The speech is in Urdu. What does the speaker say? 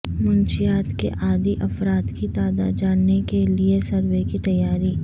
منشیات کے عادی افراد کی تعداد جاننے کے لیے سروے کی تیاری